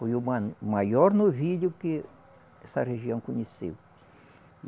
Foi o ma, o maior novilho que essa região conheceu.